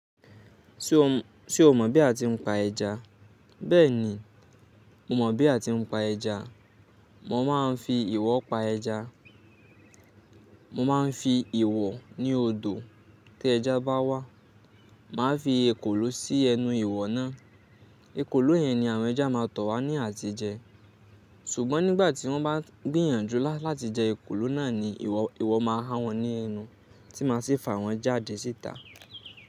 Ṣé o mọ̀ bí a ti ń pa ẹja? Bẹ́ẹ̀ni, mo mọ̀ bí a ti ń pa ẹja. Mo máa ń fi ìwọ̀ pa ẹja. Mo máa ń fi ìwọ̀ ní odò tí ẹja bá wá. Màá fi èkòló sí ẹnu ìwọ̀ náà. Èkòló yẹn ni àwọn ẹja máa tọ̀ wá ní àti jẹ. Sùgbọ́n nígbà tí wọ́n bá gbìyànjú láti jẹ èkòló náà ni ìwọ̀ máa há wọ́n ní ẹnu tí màá sì fa wọ́n jáde síta.